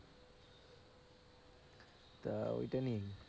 তা ওইটা নিয়েই।